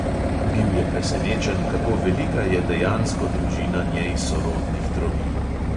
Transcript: Bil je presenečen, kako velika je dejansko družina njej sorodnih trobil.